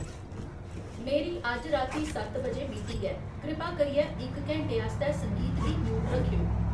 मेरी अज्ज राती सत्त बजे मीटिंग ऐ। कृपा करियै इक घैंटे आस्तै संगीत गी म्यूट रक्खेओ